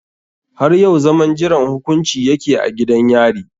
Har yau zaman jiran hukunci ya ke a gidan yari.